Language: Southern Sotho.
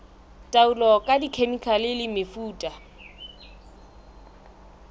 taolo ka dikhemikhale le mefuta